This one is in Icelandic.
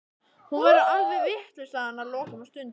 Hún verður alveg vitlaus, sagði hann að lokum og stundi.